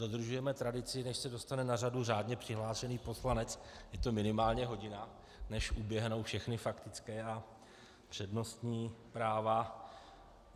Dodržujeme tradici - než se dostane na řadu řádně přihlášený poslanec, je to minimálně hodina, než uběhnou všechny faktické a přednostní práva.